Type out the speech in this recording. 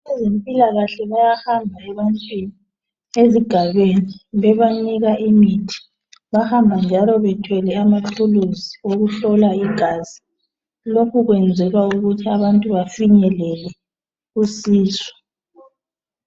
Abezempilakahle bayahamba ebantwini ezigayweni bebanika imithi Bahamba njalo bethwele amathulusi okuhlola igazi .Lokhu kwenzelwa ukuthi abantu bafinyelele usizo